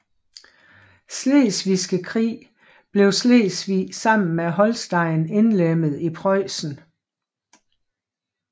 Slesvigske Krig blev Slesvig sammen med Holsten indlemmet i Preussen